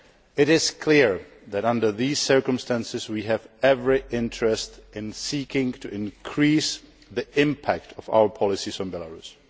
It is clear that, under these circumstances, we have every interest in seeking to increase the impact of our policies on Belarus.